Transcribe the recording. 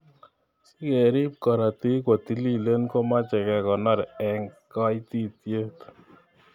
Sikerib karotik kotililen komeche kekonor eng kaititiet.